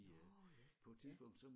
Nårh ja ja